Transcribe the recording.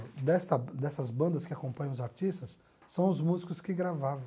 desta dessas bandas que acompanham os artistas são os músicos que gravavam